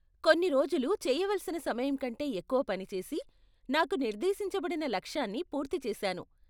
కొన్ని రోజులు చెయ్యవలసిన సమయం కంటే ఎక్కువ పని చేసి, నాకు నిర్దేశించబడిన లక్ష్యాన్ని పూర్తి చేసాను.